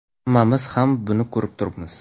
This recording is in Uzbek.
Hammamiz ham buni ko‘rib turibmiz.